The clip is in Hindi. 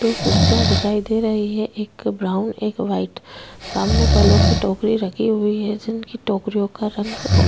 दो कुर्सियां दिखाई दे रही है एक ब्राउन एक वाइट सामने फलों की टोकरी रखी हुई है जिनकी टोकरियों का रंग--